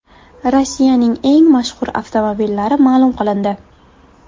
Rossiyaning eng mashhur avtomobillari ma’lum qilindi.